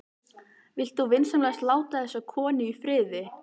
Vilt þú vinsamlegast láta þessa konu í friði!